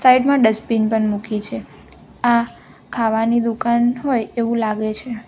સાઈડમાં ડસ્ટબીન પણ મૂકી છે આ ખાવાની દુકાન હોય એવું લાગે છે.